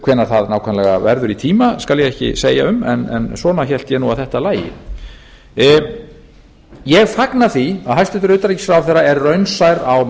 hvenær það nákvæmlega verður í tíma skal ég ekki segja um en svona hélt ég nú að þetta lægi ég fagna því að hæstvirtur utanríkisráðherra er raunsær á